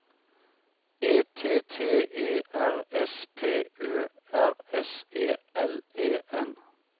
E T T E R S P Ø R S E L E N